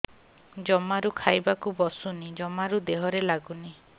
ଜମାରୁ ଖାଇବାକୁ ବସୁନି ଜମାରୁ ଦେହରେ ଲାଗୁନି